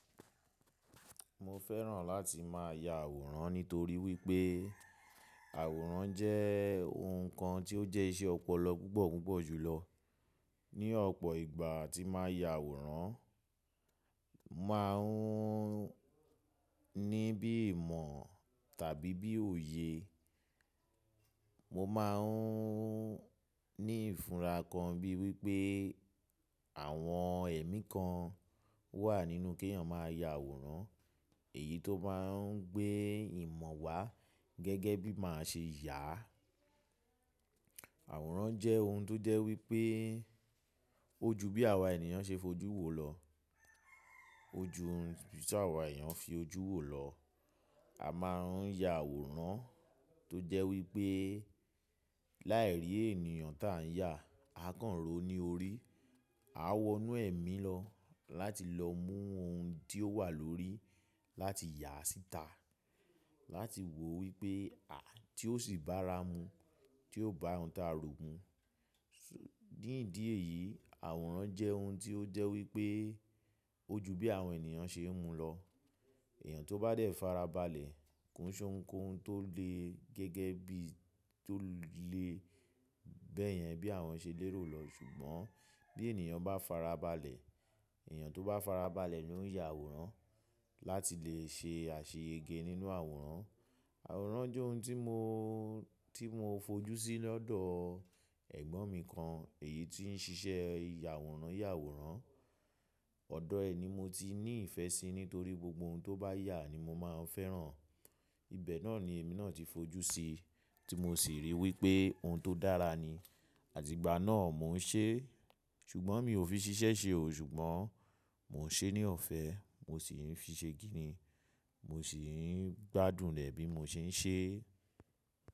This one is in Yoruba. Mo fẹ́ràn láti máa ya àwòrán nítorí wípé àwòrán jẹ́ ohun kan tí ó jẹ́ iṣẹ́ ọpọlọ púpọ̀ púpọ̀ jù lọ. Ni ọ̀pọ̀ ìgbà tí màá ya àwòrán, màá un ní bí ìmọ̀ tàbí bí òye. Mọ máa ń ní ìfúra gan bíi wípé àwọn ẹ̀mí kan wà nínú kí èèyàn máa ya àwòrán. Èyí tó máa ń gbé ìmọ̀ wá gẹ́gẹ́ bí máa ṣe yà á. Àwòrán jẹ́ ohun tó jẹ́ wípé ó ju bí àwa ènìyàn ṣe fojú wo lọ. Ó ju ohun tí àwa èèyàn fi ojú wo lọ. A máa ń ya àwòrán tó jẹ́ wípé láì rí èèyàn tà ń yà, a kàn ro ní orí. A wọ inú ẹ̀mí lọ láti lọ mú ohun tí ó wà lórí láti yà síta, láti wò wípé à tí ó ṣì bá ra mu, tí ò bá ohun tí a rò mú. Nídí èyí, àwòrán jẹ́ ohun tí ó jẹ́ wípé ó ju bí àwọn ènìyàn ṣe ń mu lọ. Èèyàn tó bá dé fara balẹ̀, kò n ṣe ohùn kohun tó le gẹ́gẹ́ bí tó le bẹ́ẹ̀ yẹn bí àwọn ṣe lé ro lọ. Ṣùgbọ́n bí ènìyàn bá fara balẹ̀, èèyàn tó bá fara balẹ̀ ni ó ń ya àwòrán láti lè ṣe àṣeyẹgẹ nínú àwòrán. Àwòrán jẹ́ ohun tí mo, tí mo fojú sí lọ́dọ̀ ẹ̀gbọ́n mi kan, èyí tí ń ṣiṣẹ́ yàwòrán yàwòrán. Ọ̀dọ̀ ẹ̀ ni mo ti ní ìfẹ́ sí nítorí gbogbo ohun tó bá yà ni mo máa ń fẹ́ràn. Ibẹ̀ náà ni èmi náà ti fojú sí, tí mo sì rí wípé ohun tó dára ni. Àtígbà náà mo ń ṣe, ṣùgbọ́n mi ò fi ṣiṣẹ́ ṣe ò. Ṣùgbọ́n mọ ń ṣe ní ọ̀fẹ́, mo ṣì ń fi ṣe kini, mo ṣì ń gbádùn rẹ̀ bí mo ṣe ń ṣe.